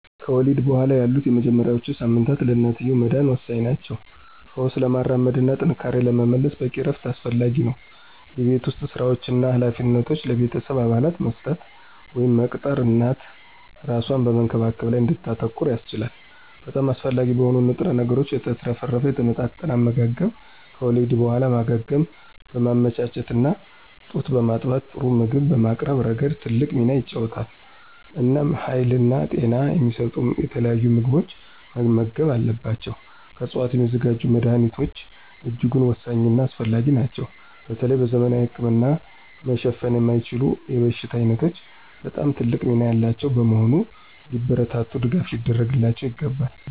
ከወሊድ በኋላ ያሉት የመጀመሪያዎቹ ሳምንታት ለእናትየው መዳን ወሳኝ ናቸው። ፈውስ ለማራመድ እና ጥንካሬን ለመመለስ በቂ እረፍት አስፈላጊ ነው። የቤት ውስጥ ሥራዎችን እና ኃላፊነቶችን ለቤተሰብ አባላት መስጠት ወይም መቅጠር እናት እራሷን በመንከባከብ ላይ እንድታተኩር ያስችላታል። በጣም አስፈላጊ በሆኑ ንጥረ ነገሮች የተትረፈረፈ የተመጣጠነ አመጋገብ ከወሊድ በኋላ ማገገምን በማመቻቸት እና ጡት በማጥባት ጥሩ ምግብ በማቅረብ ረገድ ትልቅ ሚና ይጫወታል። እናም ሀይልና ጤና የሚሰጡ የተለያዩ ምግቦችን መመገብ አለባቸው። ከዕፅዋት የሚዘጋጁ መድኀኒቶች እጅጉን ወሳኝና አስፈላጊ ናቸው በተለይ በዘመናዊ ህክምና መሸፈን የማይችሉ የበሽታ ዓይነቶች በጣም ትልቅ ሚና ያላቸው በመሆኑ ሊበረታቱና ድጋፍ ሊደረግላቸው ይገባል።